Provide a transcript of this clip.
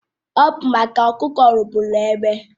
Ọ bụ maka ọkụkọ rụgbụrụ egbe